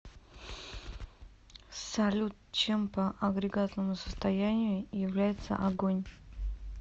салют чем по агрегатному состоянию является огонь